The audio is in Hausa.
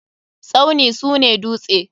Tsauni sune duste.